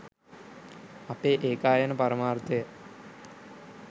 අපේ ඒකායන පරමාර්ථය